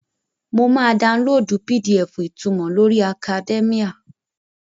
Mo máa daunlóòdù PDF ìtunmọ̀ lórí akadẹ́míà